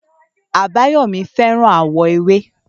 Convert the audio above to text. Àbáyọ̀mí fẹ́ràn àwọ̀ ewé